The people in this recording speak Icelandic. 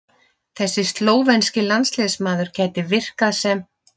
Þessi slóvenski landsliðsmaður gæti virkað sem